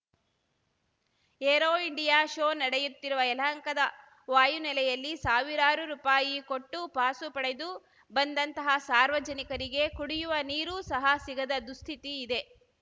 aero India show ನಡೆಯುತ್ತಿರುವ ಯಲಹಂಕದ ವಾಯುನೆಲೆಯಲ್ಲಿ ಸಾವಿರಾರು ರುಪಾಯಿ ಕೊಟ್ಟು ಪಾಸು ಪಡೆದು ಬಂದಂತಹ ಸಾರ್ವಜನಿಕರಿಗೆ ಕುಡಿಯುವ ನೀರು ಸಹ ಸಿಗದ ದುಸ್ಥಿತಿ ಇದೆ